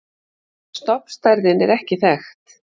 Stofnstærðin er ekki þekkt.